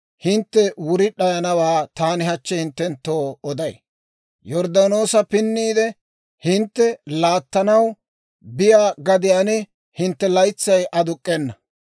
hintte wuri d'ayanawaa taani hachchi hinttenttoo oday. Yorddaanoosa pinniide, hintte laattanaw biyaa gadiyaan hintte laytsay aduk'k'ena.